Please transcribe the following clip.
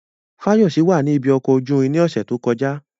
Fayose wà ní ibi ọkọ̀ ojú irin ní ọ̀sẹ̀ tó kọjá.